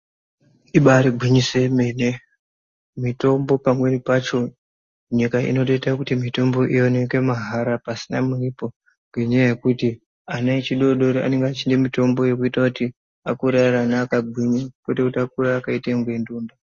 Ibaari gwinyiso yemene mitombo pamweni pacho nyika inotoita kuti mitombo ioneke mahara pasina muripo. Ngenyaya yekuti ana echidoodori anenge echida mitombo yekuti akure ari ana akagwinya, kwete kuti akure akaita kunge ndonda.